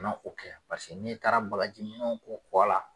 Ka na o kɛ paseke n'i taara bakaji minɛnw ko kɔ la